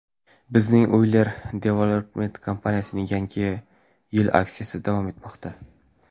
Bizning Uylar Development kompaniyasining yangi yil aksiyalari davom etmoqda.